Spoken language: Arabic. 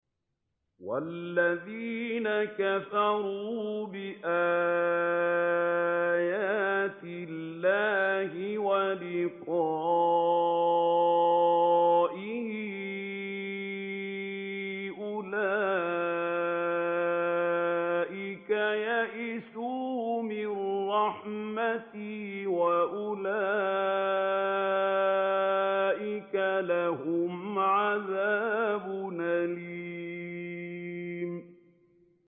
وَالَّذِينَ كَفَرُوا بِآيَاتِ اللَّهِ وَلِقَائِهِ أُولَٰئِكَ يَئِسُوا مِن رَّحْمَتِي وَأُولَٰئِكَ لَهُمْ عَذَابٌ أَلِيمٌ